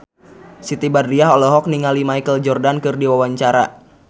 Siti Badriah olohok ningali Michael Jordan keur diwawancara